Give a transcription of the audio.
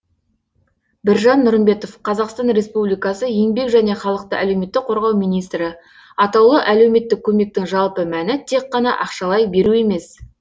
біржан нұрымбетов қазақстан республикасы еңбек және халықты әлеуметтік қорғау министрі атаулы әлеуметтік көмектің жалпы мәні тек қана ақшалай беру емес